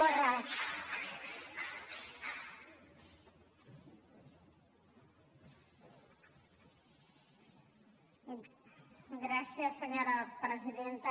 gràcies senyora presidenta